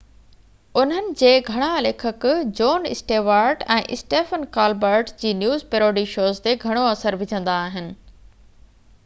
انهن جي گهڻا ليکڪ جون اسٽيوارٽ ۽ اسٽيفن ڪالبرٽ جي نيوز پيروڊي شوز تي گهڻو اثر وجهندا آهن